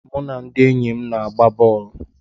Mụ na ndị enyi m na-agba bọl.